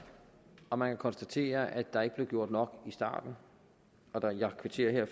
og man kan konstatere at der ikke blev gjort nok i starten kvitterer jeg